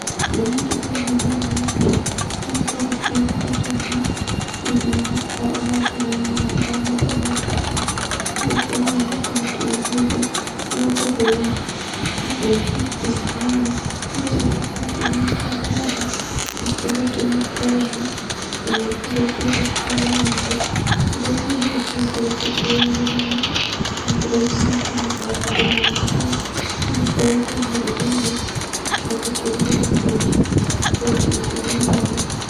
Kĩndũ gĩkĩ ndĩrona thĩinĩ wa mbica, nĩgĩkoragwo kĩna bata mũno, thĩinĩ wa mambura-inĩ ma omũthenya omũthenya, nĩgũkorwo rĩrĩa wakorwo ũkĩruga irio, nĩwongagĩrĩra indo icic thĩinĩ wa irio, nĩgetha cikorwo ciĩna mũcamo mwega, na ikorwo ikĩnunga wega, ona ikorwo ikĩendeka mũno nĩ andũ. Kĩndũ gĩkĩ nĩgĩkoretwo gĩtaithĩrĩirie mũno mambura-inĩ maitũ ma omũthenya omũthenya, nĩgũkorwo rĩrĩa twaharĩria irio, twakorwo tũkĩruga na indo ici, cikoragwo cigĩcamia irio wega.